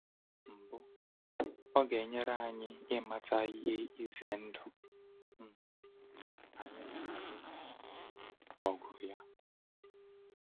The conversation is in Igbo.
Mbụ, ọ ga-enyere anyị ịmata ihe ize ndụ um anyị na-alụ ọgụ ya.